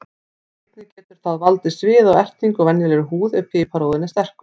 Einnig getur það valdið sviða og ertingu á venjulegri húð ef piparúðinn er sterkur.